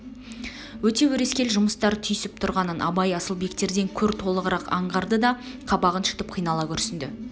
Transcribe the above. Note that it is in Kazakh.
өте өрескел жұмыстар түйсіп тұрғанын абай асылбектерден көр толығырақ аңғарды да қабағын шытып қинала күрсінді